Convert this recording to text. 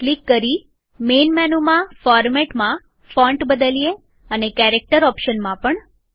click કરી main મેનુમાં ફોરમેટમાં ફોન્ટ બદલીએ અને કેરેક્ટર ઓપ્શનમાં પણ